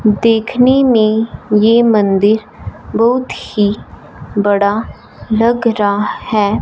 देखने में ये मंदिर बहुत ही बड़ा लगा रहा है।